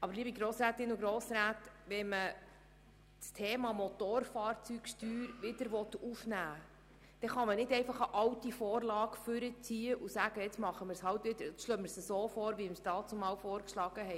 Aber wenn man das Thema Motorfahrzeugsteuer wieder aufnehmen will, dann kann man nicht einfach eine alte Vorlage hervorziehen und das so vorschlagen, wie wir es damals abgelehnt haben.